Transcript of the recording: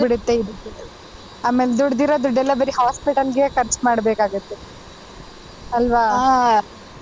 ಆಮೇಲೆ ದುಡ್ದಿರೋ ದುಡ್ಡೇಲ್ಲ ಬರೀ hospital ಗೆ ಖರ್ಚ್ ಮಾಡಬೇಕಾಗುತ್ತೆ ಅಲ್ವಾ .